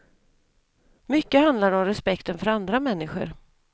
Mycket handlar det om respekten för andra människor.